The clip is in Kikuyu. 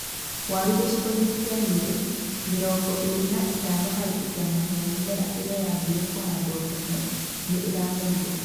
Waru gĩcigo-inĩ kĩa Nyeri, mĩrongo ĩrĩ na ĩtano harĩ igana ya mĩmera ĩrĩa yaambire kũhandwo tene nĩ ĩramerire.